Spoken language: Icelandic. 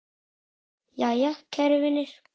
Jæja, kæru vinir.